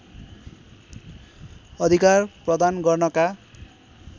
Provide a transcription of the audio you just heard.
अधिकार प्रदान गर्नका